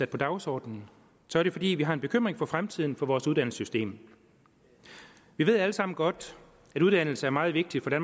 på dagsordenen er det fordi vi har en bekymring for fremtiden for vores uddannelsessystem vi ved alle sammen godt at uddannelse er meget vigtig for